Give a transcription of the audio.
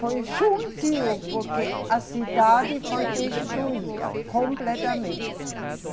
Foi juntinho, porque a cidade foi destruída completamente.